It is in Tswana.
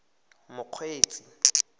mokgweetsi